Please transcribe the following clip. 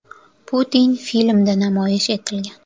Putin” filmida namoyish etilgan.